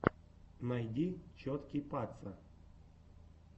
найди чоткий паца